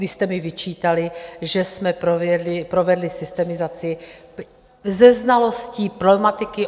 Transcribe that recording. Vy jste mi vyčítali, že jsme provedli systemizaci se znalostí problematiky.